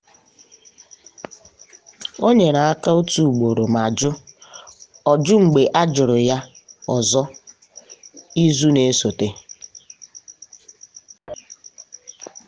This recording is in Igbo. ọ nyere aka otu ugboro ma jụ o jụ mgbe a jụrụ ya ọzọ izu na-esote.